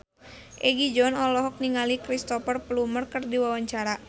Egi John olohok ningali Cristhoper Plumer keur diwawancara